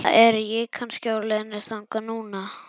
Eða er ég kannski á leiðinni þangað núna?